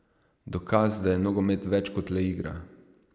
Dokaz, da je nogomet več kot le igra.